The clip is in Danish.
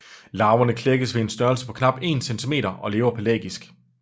Larverne klækkes ved en størrelse på knap 1 cm og lever pelagisk